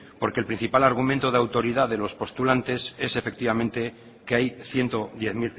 porque el principal argumento de autoridad de los postulantes es efectivamente que hay ciento diez